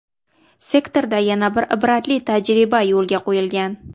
Sektorda yana bir ibratli tajriba yo‘lga qo‘yilgan.